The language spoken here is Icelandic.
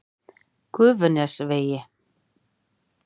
Gufunesvegi